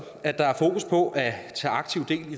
at der er fokus på at tage aktiv